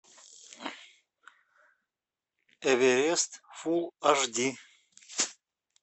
эверест фулл аш ди